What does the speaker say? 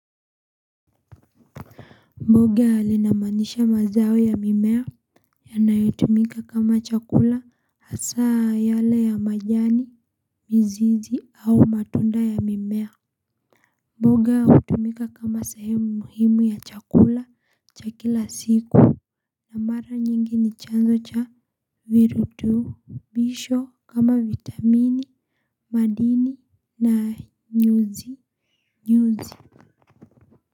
Mboga ninamanisha mazao ya mimea yanayotumika kama chakula hasaa yale ya majani, mizizi au matunda ya mimea. Mboga huumika kama sehemu muhimu ya chakula cha kila siku. Na mara nyingi ni chanzo cha virutu bisho kama vitamini, madini na nyuzi.